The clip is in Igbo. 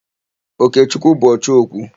Okechukwu bụ ọchọ okwu.